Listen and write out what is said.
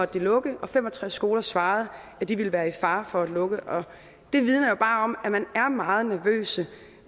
de lukke og fem og tres skoler svarede at de ville være i fare for at lukke og det vidner jo bare om at man er meget nervøse